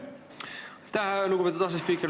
Aitäh, lugupeetud asespiiker!